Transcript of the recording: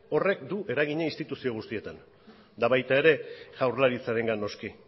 horrek du eragina instituzio guztietan eta baita ere jaurlaritzarengan noski